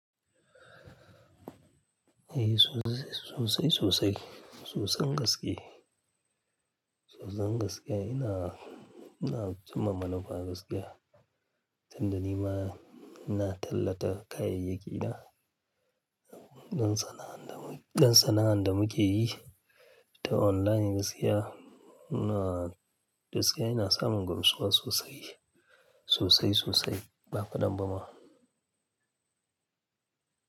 Eh, sosai, sosai, sosan gaske. Sosai gaske, ina, ina cimma manufa gaskiya. Tunda nima ina tallata kayayyaki na don sana'ar da, don sana'ar da muke yi ta online gaskiya, ina, gaskiya ina samun gamsuwa sosai, sosai, sosai ba kaɗan ba ma.